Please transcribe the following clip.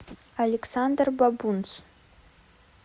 александр бабунц